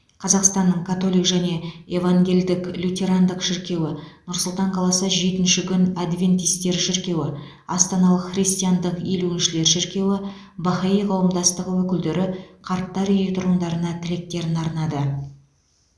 қазақстанның католик және евангелдік лютерандық шіркеуі нұр сұлтан қаласы жетінші күн адвентистері шіркеуі астаналық христиандық елуіншілер шіркеуі бахаи қауымдастығы өкілдері қарттар үйі тұрғындарына тілектерін арнады